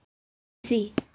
Ég heiti því.